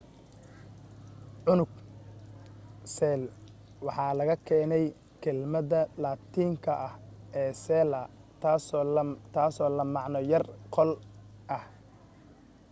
unug cell waxa laga keenay kelmadda laatiinka ah ee cella taasoo la macno ah qol yar